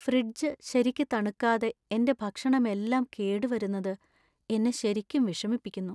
Fridge ശരിക്കു തണുക്കാതെ എന്‍റെ ഭക്ഷണമെല്ലാം കേട് വരുന്നത് എന്നെ ശരിക്കും വിഷമിപ്പിക്കുന്നു.